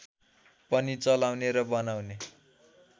पनि चलाउने र बनाउने